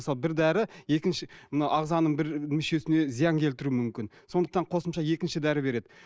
мысалы бір дәрі екінші мына ағзаның бір мүшесіне зиян келтіруі мүмкін сондықтан қосымша екінші дәрі береді